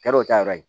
Kɛra o ta yɔrɔ ye